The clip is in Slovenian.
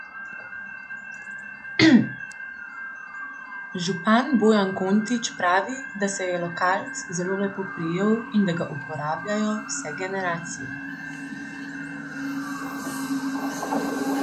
Župan Bojan Kontič pravi, da se je lokalc zelo lepo prijel in da ga uporabljajo vse generacije.